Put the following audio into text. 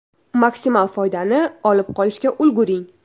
Maksimal foydani olib qolishga ulguring!